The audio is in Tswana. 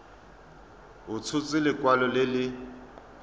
a tshotse lekwalo le le